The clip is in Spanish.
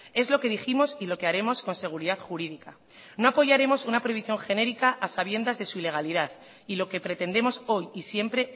es lo que dijimos y lo que haremos con seguridad jurídica no apoyaremos una prohibición genérica a sabiendas de su ilegalidad y lo que pretendemos hoy y siempre